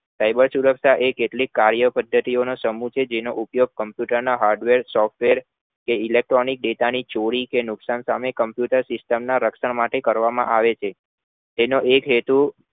Cyber સુરક્ષા એ કેટલીક કર્યો પદ્ધતિ ઓં નો સમૂહ છે જેમનો ઉપયોગ પોતાના hardWare software કે elecctronic data ની ચોરી કે નુકસાન સામે computer ના રક્ષણ માટે કરવામાં આવે છે તેનો એક હેતુ